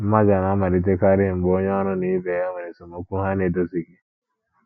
Mmaja na - amalitekarị mgbe onye ọrụ na ibe ya nwere esemokwu ha na - edozighị.